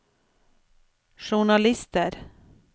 journalister